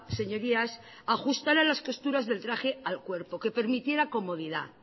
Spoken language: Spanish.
señorías ajustara las costuras del traje al cuerpo que permitiera comodidad